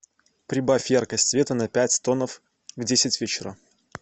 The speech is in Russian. прибавь яркость света на пять тонов в десять вечера